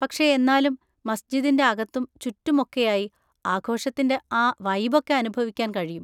പക്ഷേ എന്നാലും മസ്ജിദിൻ്റെ അകത്തും ചുറ്റും ഒക്കെയായി ആഘോഷത്തിൻ്റെ ആ വൈബൊക്കെ അനുഭവിക്കാൻ കഴിയും.